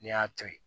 N'i y'a to yen